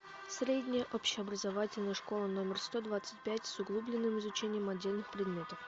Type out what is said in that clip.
средняя общеобразовательная школа номер сто двадцать пять с углубленным изучением отдельных предметов